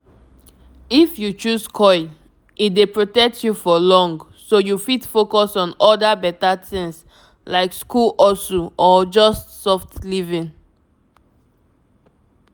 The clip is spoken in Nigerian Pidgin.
if you choose coil e dey protect you for long so you fit focus on other better things like school hustle or just soft living.